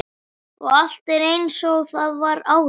Og allt er einsog það var áður.